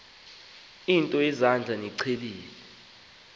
nto yezandla niyiqhelile